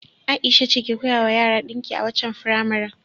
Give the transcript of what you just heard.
Ai'sha ce ke koyawa yara dinki a waccan firamaren.